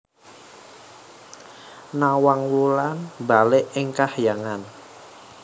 Nawang Wulan mbalik ing kahyangan